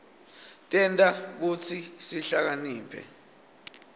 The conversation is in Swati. tenta kutsi sihlakaniphe